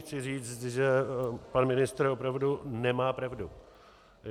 Chci říct, že pan ministr opravdu nemá pravdu.